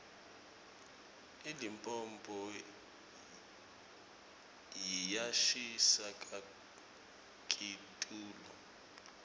ilipompo yiyashisa kakitulu